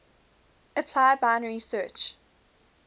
apply binary search